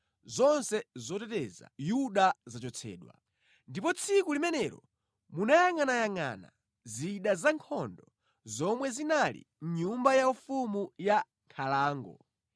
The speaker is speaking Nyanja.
zonse zoteteza Yuda zachotsedwa. Ndipo tsiku limenelo munayangʼanayangʼana zida zankhondo zomwe zinali mʼnyumba yaufumu ya nkhalango;